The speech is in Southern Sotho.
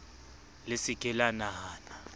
le se ke la nahana